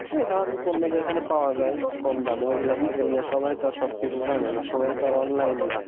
তো এ ধরনের পণ্য যেখানে পাওয়া যায় কম দামে ওগুলোর থেকে নিয়ে সবাই তো আর সবকিছু জানে না সবাই তো আর online না